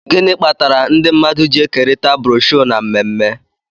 gịnị kpatara ndị mmadụ ji ekerịta broshuọ na mmemme